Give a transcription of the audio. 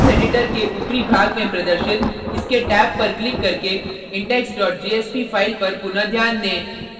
source editor के ऊपरी भाग में प्रदर्शित इसके टेब पर क्लिक करके index jsp file पर पुनः ध्यान दें